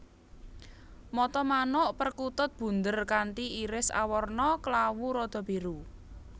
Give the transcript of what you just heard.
Mata manuk perkutut bunder kanthi iris awarna klawu rada biru